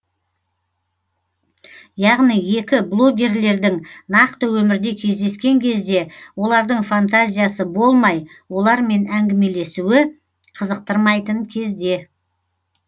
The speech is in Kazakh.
яғни екі блогерлердің нақты өмірде кездескен кезде олардың фантазиясы болмай олармен әңгімелесуі қызықтырмайтын кезде